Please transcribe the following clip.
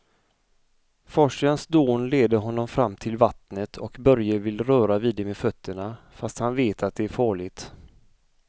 Forsens dån leder honom fram till vattnet och Börje vill röra vid det med fötterna, fast han vet att det är farligt.